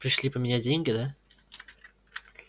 пришли поменять деньги да